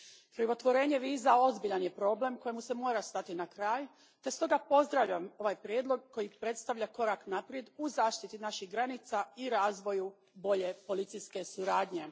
Krivotvorenje viza ozbiljan je problem kojemu se mora stati na kraj te stoga pozdravljam ovaj prijedlog koji predstavlja korak naprijed u zaštiti naših granica i razvoju bolje policijske suradnje.